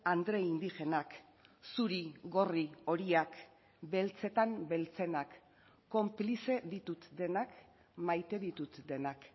andre indigenak zuri gorri horiak beltzetan beltzenak konplize ditut denak maite ditut denak